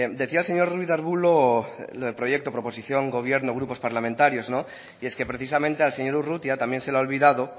decía el señor ruiz arbulo lo de proyecto proposición gobierno grupos parlamentarios no y es que precisamente al señor urrutia también se le ha olvidado